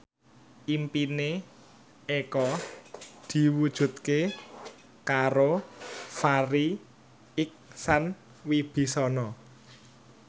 impine Eko diwujudke karo Farri Icksan Wibisana